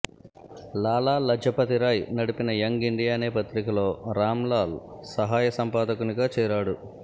లాలా లజపతిరాయ్ నడిపిన young India అనే పత్రికలో రాంలాల్ సహాయ సంపాదకునిగా చేరాడు